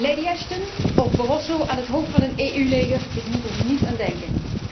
Lady Ashton of Barroso aan het hoofd van een EU leger, ik moet er niet aan denken.